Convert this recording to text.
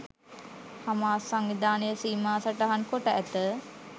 Hamas සංවිධානය සීමා සටහන් කොට ඇත.